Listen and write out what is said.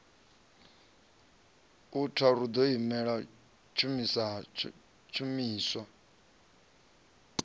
a tharu ḓo imela tshishumiswa